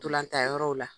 Ntolantan yɔrɔw la